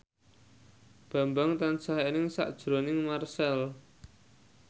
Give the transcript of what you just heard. Bambang tansah eling sakjroning Marchell